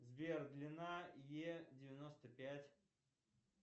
сбер длина е девяносто пять